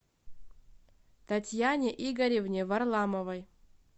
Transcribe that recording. татьяне игоревне варламовой